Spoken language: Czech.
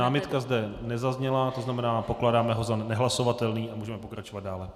Námitka zde nezazněla, to znamená, pokládáme ho za nehlasovatelný a můžeme pokračovat dále.